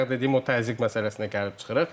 Bayaq dediyim o təzyiq məsələsinə gəlib çıxırıq.